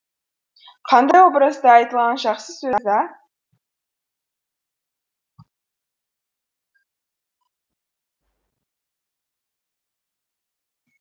қандай образды айтылған жақсы сөз ә